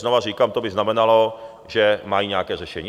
Znovu říkám, to by znamenalo, že mají nějaké řešení.